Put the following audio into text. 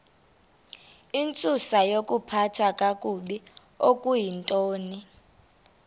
intsusayokuphathwa kakabi okuyintoni